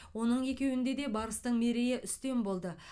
оның екеуінде де барыстың мерейі үстем болды